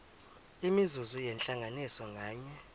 imizuzu yentlanganiso nganye